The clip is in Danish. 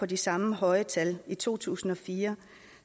de samme høje tal i to tusind og fire